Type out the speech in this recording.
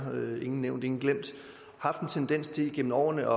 ingen nævnt ingen glemt haft en tendens til gennem årene